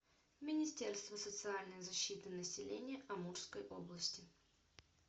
министерство социальной защиты населения амурской области